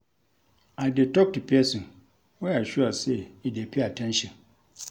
I dey tok to pesin wey I sure sey e dey pay at ten tion.